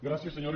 gràcies senyores